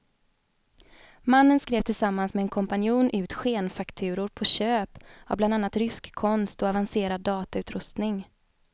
Mannen skrev tillsammans med en kompanjon ut skenfakturor på köp av bland annat rysk konst och avancerad datautrustning.